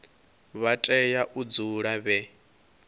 vha tea u dzula vhe